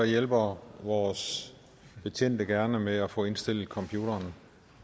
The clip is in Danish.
hjælper vores betjente gerne med at få indstillet computerne